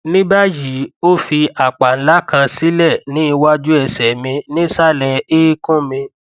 ní báyìí ó fi àpá ńlá kan sílẹ ní iwájú ẹsẹ mi nísàlẹ eékún mi